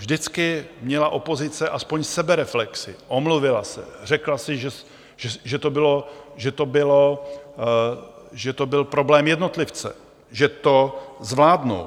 Vždycky měla opozice (?) aspoň sebereflexi, omluvila se, řekla si, že to byl problém jednotlivce, že to zvládnou.